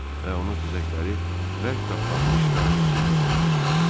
Və onun xizəkləri bərk tapdanmış qarın içində donmuşdu.